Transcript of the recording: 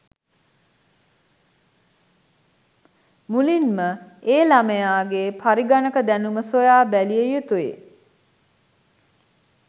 මුලින්ම ඒ ළමයා ගේ පරිඝණක දැනුම සොයා බැලිය යුතුයි.